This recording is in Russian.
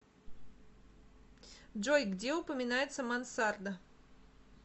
джой где упоминается мансарда